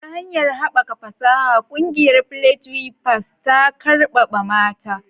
Ta hanyar haɓaka fasaha, ƙungiyar "Village Weavers" ta ƙarfafa mata.